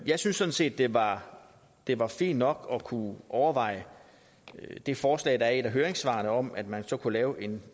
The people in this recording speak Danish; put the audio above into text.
jeg synes sådan set det var det var fint nok at kunne overveje det forslag der er i et af høringssvarene om at man så kunne lave en